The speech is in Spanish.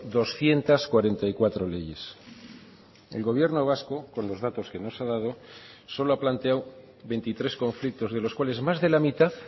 doscientos cuarenta y cuatro leyes el gobierno vasco con los datos que nos ha dado solo ha planteado veintitrés conflictos de los cuales más de la mitad